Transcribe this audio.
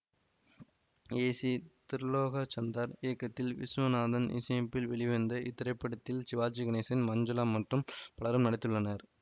ஏ C Tirulokchandar இயக்கத்தில் விசுவநாதன் இசையமைப்பில் வெளிவந்த இத்திரைப்படத்தில் சிவாஜி கணேசன் மஞ்சுளா மற்றும் பலரும் நடித்துள்ளனர்